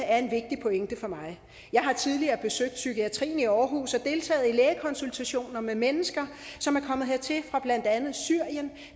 er en vigtig pointe for mig jeg har tidligere besøgt psykiatrien i aarhus og deltaget i lægekonsultationer med mennesker som er kommet hertil fra blandt andet syrien